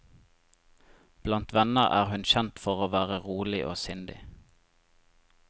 Blant venner er hun kjent for å være rolig og sindig.